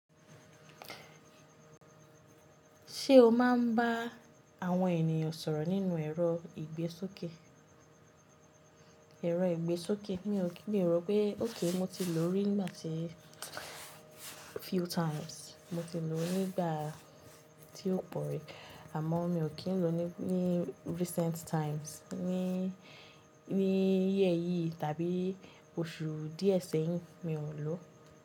Ṣé o máa ń bá àwọn ènìyàn sọ̀rọ̀ lori ẹ̀rọ ìgbésókè? Mi ro pé okay mo ti lò ó rí nígbà tí few times. Mo ti lò ó ní ìgbà tí ó pọ̀ rí, amọ́ mi ò ti ń lò ó ní recent times. Ní year yìí tàbí oṣù díẹ̀ sẹ́yìn, mi ò lò ó.